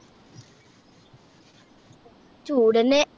ചൂടെന്നെ